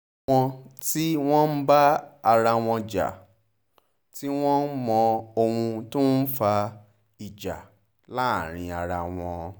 àwọn tí wọ́n ń bá ara wọn jà tí wọ́n mọ ohun tó ń fa ìjà láàrin ara wọn